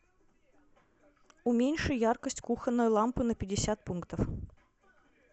уменьши яркость кухонной лампы на пятьдесят пунктов